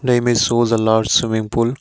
The image shows a large swimming pool.